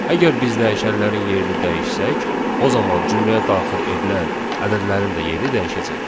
Əgər biz dəyişənlərin yerini dəyişsək, o zaman cümləyə daxil edilən ədədlərin də yeri dəyişəcək.